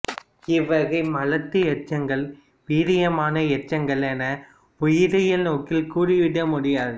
இவ்வகை மலட்டு எச்சங்களை வீரியமான எச்சங்கள் என உயிரியல் நோக்கில் கூறிவிட முடியாது